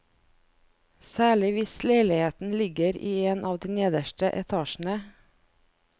Særlig hvis leiligheten ligger i en av de nederste etasjene.